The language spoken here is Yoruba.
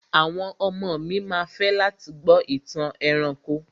Àwọn ọmọ mi ma fẹ́ láti gbọ́ ìtàn ẹranko.